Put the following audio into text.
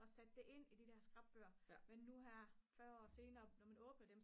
og sat det ind i de der skrapbøger men nu her 40 år senere når man åbner dem